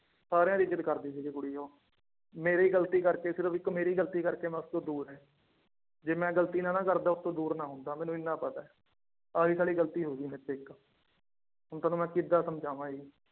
ਸਾਰਿਆਂ ਦੀ ਇੱਜ਼ਤ ਕਰਦੀ ਸੀਗੀ ਕੁੜੀ ਉਹ, ਮੇਰੀ ਗ਼ਲਤੀ ਕਰਕੇ ਸਿਰਫ਼ ਇੱਕ ਮੇਰੀ ਗ਼ਲਤੀ ਕਰਕੇ ਮੈਂ ਉਸ ਤੋਂ ਦੂਰ ਹੈ, ਜੇ ਮੈਂ ਗ਼ਲਤੀ ਨਾ ਨਾ ਕਰਦਾ ਉਸਤੋਂ ਦੂਰ ਨਾ ਹੁੰਦਾ ਮੈਨੂੰ ਇੰਨਾ ਪਤਾ ਹੈ, ਆਹੀ ਸਾਲੀ ਗ਼ਲਤੀ ਹੋ ਗਈ ਮੇਰੇ ਤੋਂ ਇੱਕ ਹੁਣ ਤੁਹਾਨੂੰ ਮੈਂ ਕਿੱਦਾਂ ਸਮਝਾਵਾਂ ਇਹ